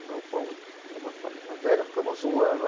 O galpão era uma fábrica velha, ficamos um ano.